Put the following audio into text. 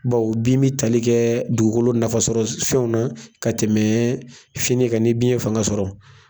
Bawo bin bɛ tali kɛ dugukolo nafasɔrɔ fɛnw na ka tɛmɛ fini kan ni bin ye fanga sɔrɔ.